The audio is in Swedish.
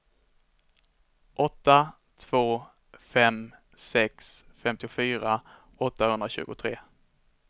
åtta två fem sex femtiofyra åttahundratjugotre